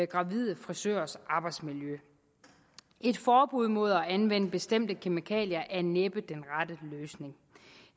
gravide frisørers arbejdsmiljø et forbud mod at anvende bestemte kemikalier er næppe den rette løsning